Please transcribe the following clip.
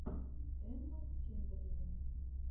эмма чемберлен